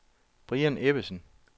Brian Ebbesen